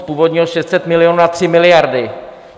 Z původních 600 milionů na tři miliardy.